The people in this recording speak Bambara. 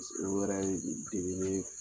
wɛrɛ diminen